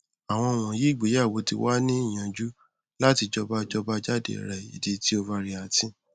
awọn wọnyi igbeyewo ti wa ni niyanju lati jọba jọba jade rẹ idi ti overeating